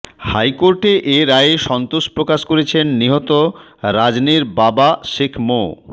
হাইকোর্টের এ রায়ে সন্তোষ প্রকাশ করেছেন নিহত রাজনের বাবা শেখ মো